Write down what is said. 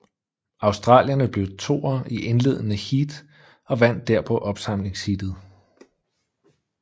Australierne blev toer i indledende heat og vandt derpå opsamlingsheatet